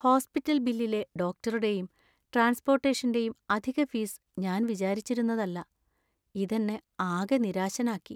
Hospital‍ ബില്ലിലെ ഡോക്ടറുടെയും ട്രാൻസ്പോർട്ടേഷന്‍റെയും അധിക ഫീസ് ഞാൻ വിചാരിച്ചിരുന്നതല്ല, ഇത് എന്നെ ആകെ നിരാശനാക്കി.